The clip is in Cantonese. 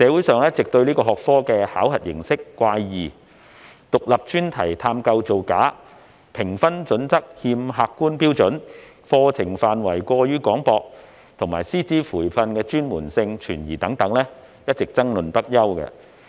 對於此學科考核形式怪異、獨立專題探究造假、評分準則欠缺客觀標準、課程範圍過於廣泛，以及師資培訓專門性存疑等，社會上一直爭論不休。